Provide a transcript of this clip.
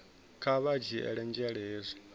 kha vha dzhiele nzhele hezwi